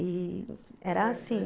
E era assim.